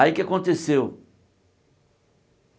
Aí o que aconteceu?